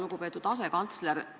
Lugupeetud asekantsler!